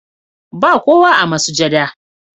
Ba kowa a masujada,